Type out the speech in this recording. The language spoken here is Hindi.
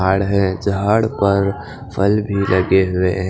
आड़ ह झाड पर फल भी लगे हुवे हैं।